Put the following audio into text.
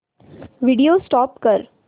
video stop कर